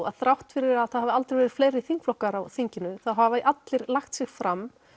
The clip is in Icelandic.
að þrátt fyrir að það hafi aldrei verið fleiri þingflokkar á þinginu þá hafa allir lagt sig fram